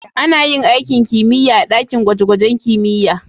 Ana yin aikin kimiyya a dakin gwaje-gwaje na kimiyya.